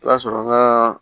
I b'a sɔrɔ ŋaa